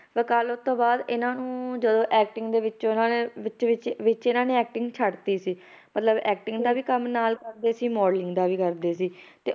ਵਕਾਲਤ ਤੋਂ ਬਾਅਦ ਇਹਨਾਂ ਨੂੰ ਜਦੋਂ acting ਦੇ ਵਿੱਚ ਇਹਨਾਂ ਨੇ ਵਿੱਚ ਵਿੱਚ ਵਿੱਚ ਇਹਨਾਂ ਨੇ acting ਛੱਡ ਦਿੱਤੀ ਸੀ ਮਤਲਬ acting ਦਾ ਵੀ ਕੰਮ ਨਾਲ ਕਰਦੇ ਸੀ modeling ਦਾ ਵੀ ਕਰਦੇ ਸੀ, ਤੇ